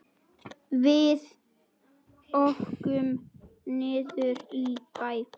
Hann kann ekki að skrifa.